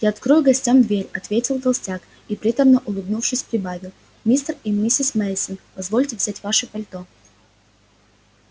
я открою гостям дверь ответил толстяк и приторно улыбнувшись прибавил мистер и миссис мейсон позвольте взять ваши пальто